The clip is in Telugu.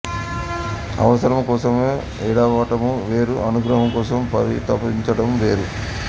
అవసరము కోసము ఏడవటము వేరు అనుగ్రహము కోసము పరితపించటము వేరు